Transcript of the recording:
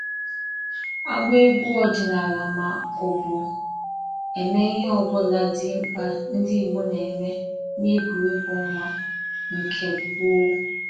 agba egwu ọdịnala ma ọ bụ eme ihe ọ bụla dị mkpa ndị Igbo na-eme n'egwuregwu ọnwa nke gboo